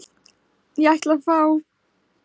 Ég ætla að fá.